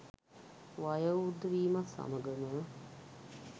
වයෝවෘද්ධ වීමත් සමඟම